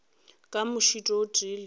ka mošito o tee le